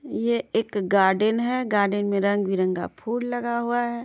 ये एक गार्डन है। गार्डन मे रंग बिरंगा फूल लगा हुआ है।